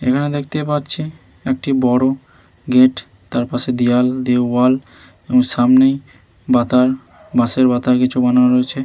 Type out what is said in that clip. এখানে দেখতে পাচ্ছি একটি বড়ো গেট । তার পাশে দিওয়াল দেওয়াল এবং সামনেই বাতার বাঁশের বাতায় কিছু বানানো রয়েছে ।